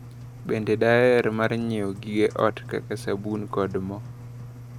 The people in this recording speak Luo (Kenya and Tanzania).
Bende daher mar nyiewo gige ot kaka sabun kod mo.